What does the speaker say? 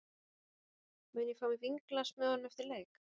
Mun ég fá mér vínglas með honum eftir leik?